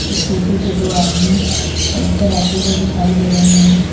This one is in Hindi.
इस्कूटी पे दो आदमी चलाते हुए दिखाई दे रहे हैं।